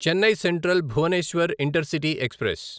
Chennai central Bhubaneswar intercity express